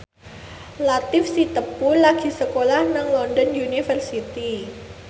Latief Sitepu lagi sekolah nang London University